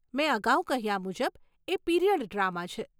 મેં અગાઉ કહ્યા મુજબ એ પીરીયડ ડ્રામા છે.